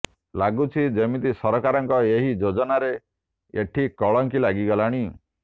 ଲାଗୁଛି ଯେମିତି ସରକାରଙ୍କ ଏହି ଯୋଜନାରେ ଏଠି କଳଙ୍କି ଲାଗିଗଲାଣି